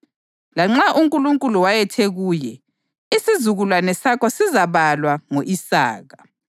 lanxa uNkulunkulu wayethe kuye, “isizukulwane sakho sizabalwa ngo-Isaka.” + 11.18 UGenesisi 21.12